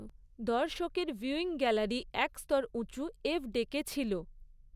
দর্শকদের viewing gallery এক স্তর উঁচু এফ ডেকে ছিল।